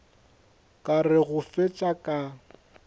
ka re go fetša ka